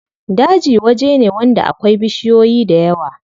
Daji waje ne wanda akwai bishiyoyi dayawa.